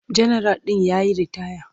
Janaral ɗin ya yi ritaya.